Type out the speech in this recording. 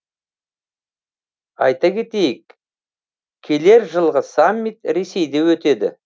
айта кетейік келер жылғы саммит ресейде өтеді